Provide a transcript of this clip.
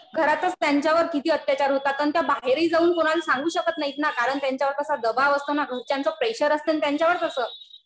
घरातच त्यांच्यावर किती अत्याचार होतात. पण त्या बाहेरही जाऊन कुणाला सांगू शकत नाही ना. कारण त्यांच्यावर तसा दबाव असतो ना. घरच्यांचं प्रेशर असतं ना त्यांच्यावर तसं.